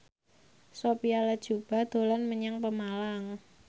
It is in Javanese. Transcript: Sophia Latjuba dolan menyang Pemalang